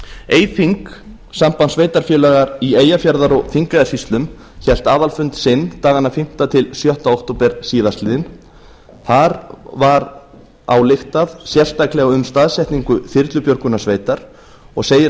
eyþing samband sveitarfélaga í eyjafjarðar og þingeyjarsýslum hélt aðalfund sinn dagana fimm til sjötta október síðastliðinn þar var ályktað sérstaklega um staðsetningu þyrlubjörgunarsveitar og segir